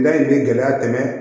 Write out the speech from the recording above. Da in bɛ gɛlɛya tɛmɛ